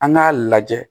An k'a lajɛ